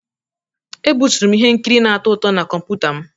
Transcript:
Ebuturu m ihe nkiri na-atọ ụtọ na kọmputa m.